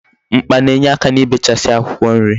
Mkpa na-enyeaka n'ibechasi akwukwo nri